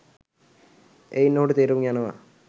එයින් ඔහුට තේරුම් යනවා